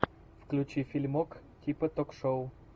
включи фильмок типа ток шоу